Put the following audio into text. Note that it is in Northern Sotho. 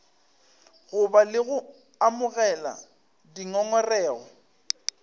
goba le go amogela dingongorego